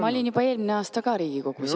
Ma olin juba eelmine aasta ka Riigikogus jah.